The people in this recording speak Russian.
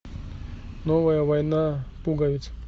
новая война пуговиц